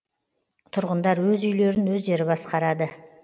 тұрғындар өз үйлерін өздері басқарады